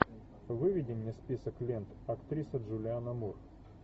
выведи мне список лент актриса джулианна мур